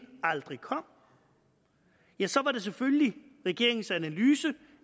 aldrig kom ja så var det selvfølgelig regeringens analyse